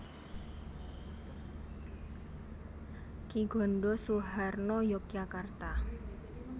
Ki Gondho Suharno Yogyakarta